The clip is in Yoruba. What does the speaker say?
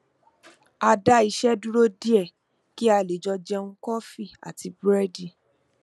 a dá iṣẹ dúró díẹ kí a lè jọ jẹun kọfí àti búrẹdì